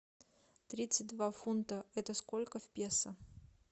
тридцать два фунта это сколько в песо